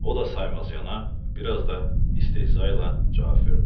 O da saymazyana, biraz da istehza ilə cavab verdi.